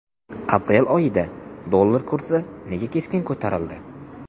Aprel oyida dollar kursi nega keskin ko‘tarildi?.